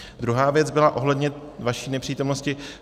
Druhá věc byla ohledně vaší nepřítomnosti.